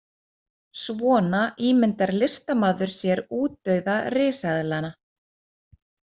Svona ímyndar listamaður sér útdauða risaeðlanna.